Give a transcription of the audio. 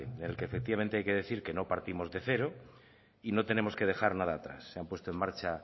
del que efectivamente hay que decir que no partimos de cero y no tenemos que dejar nada atrás se han puesto en marcha